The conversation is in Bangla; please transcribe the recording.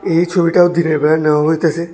এই ছবিটাও দিনের বেলা নেওয়া হইতাসে।